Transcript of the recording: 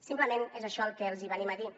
simplement és això el que els venim a dir